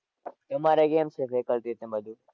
તમારે કેમ છે faculties ને બધું?